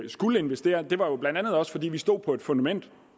skulle investere jo blandt andet var fordi vi stod på et fundament